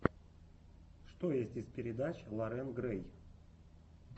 что есть из передач лорен грэй